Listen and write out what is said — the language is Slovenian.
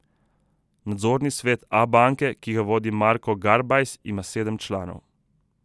Nadzorni svet Abanke, ki ga vodi Marko Garbajs, ima sedem članov.